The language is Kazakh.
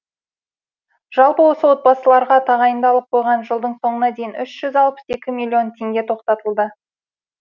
жалпы осы отбасыларға тағайындалып қойған жылдың соңына дейін үш жүз алпыс екі миллион теңге тоқтатылды